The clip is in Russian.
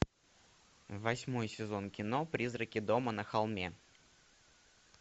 восьмой сезон кино призраки дома на холме